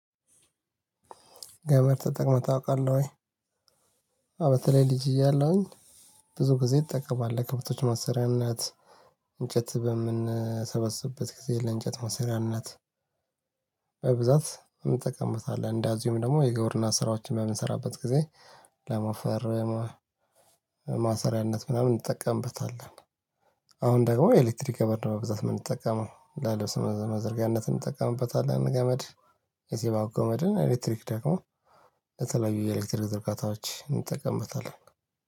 ገበር ተጠቅመህ ታውቃለህ ወይ? በተለይ ልጅ እያለሁኝ ብዙ ጊዜ ይጠቀማለሁ ለከብቶች ማሰሪያነት እንጨት በምንሰበስብበት ጊዜ ለእንጨት ማሰሪያነት በብዛት እንጠቀምበታለን። እንደዚሁም ደግሞ የግብርና ስራዎችን በምንሰራበት ጊዜ ለሞፈርም ማሰሪያነት ምናምን እንጠቀምበታለን። አሁን ደግሞ ኤሌክትሪክ ገመድ ነው በብዛት የምንጠቀመው ለልብስ መዘርጊያነት እንጠቀምበታለን። ገመድ የሲባጎ ገመድን ኤሌክትሪክ ደግሞ ለተለያዩ ኤሌክትሪክ ዘርጋታዎች እንጠቀምበታለን።